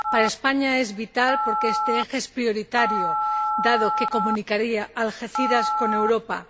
Para España es vital porque este eje es prioritario, dado que comunicaría Algeciras con Europa.